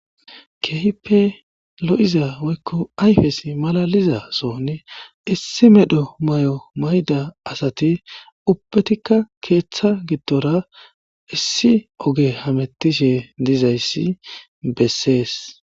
keehippe lo7iza woykko ayfesi malaliza soni issi medho may7o mayda asati ubbetikka keeththa giddora issi oge hamettishe dizayssi bessees